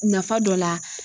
Nafa dɔ la